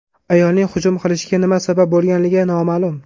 Ayolning hujum qilishiga nima sabab bo‘lganligi noma’lum.